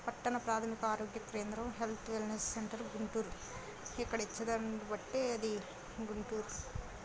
పట్టణ ప్రాధమిక ఆరోగ్య కేంద్రం హెల్త్ వెల్నెస్ సెంటర్ గుంటూరు ఇక్కడ బట్టి అది గుంటూరు --